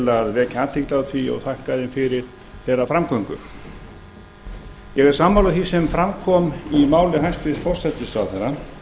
að vekja athygli á því og þakka þeim fyrir þeirra framgöngu ég er sammála því sem fram kom í máli hæstvirts forsætisráðherra